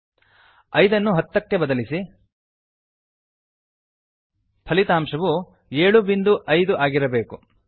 5 ಐದನ್ನು 10ಹತ್ತ ಕ್ಕೆ ಬದಲಿಸಿ ಫಲಿತಾಂಶವು 75 ಏಳು ಬಿಂದು ಐದು ಆಗಿರಬೇಕು